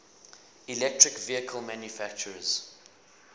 electric vehicle manufacturers